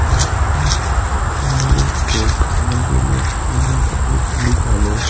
এটা হচ্ছে shopping mall -এর ড্রেস কেনার জন্য তোমাদের খুবই ভালো-ও